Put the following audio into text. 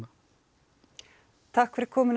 takk fyrir komuna